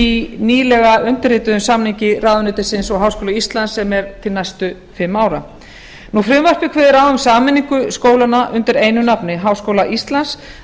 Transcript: í nýlega undirrituðum samningi ráðuneytisins og háskóla íslands sem er til næstu fimm ára frumvarpið kveður á um sameiningu skólanna undir einu nafni háskóla íslands það